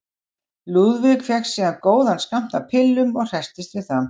Lúðvík fékk síðan góðan skammt af pillum og hresstist við það.